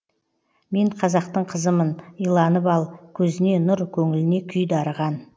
мен қазақтың қызымын иланып ал көзіне нұр көңліне күй дарыған